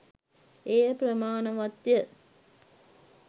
එය ප්‍රමාණවත්ය.